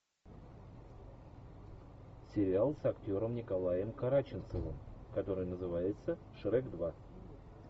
сериал с актером николаем караченцовым который называется шрек два